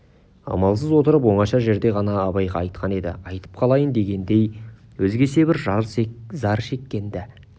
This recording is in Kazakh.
амалсыз отырып оңаша жерде ғана абайға айтқан еді айтып қалайын дегендей өзгеше бір зар шеккен-ді